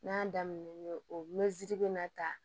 N'a daminɛnen o mɛtiri bɛ na ta